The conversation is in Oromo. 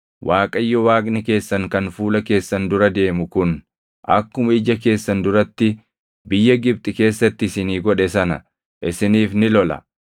Waaqayyo Waaqni keessan kan fuula keessan dura deemu kun akkuma ija keessan duratti biyya Gibxi keessatti isinii godhe sana isiniif ni lola;